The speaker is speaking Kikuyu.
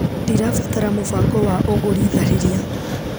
Ndirabatara mũbango wa ũgũri tharĩria.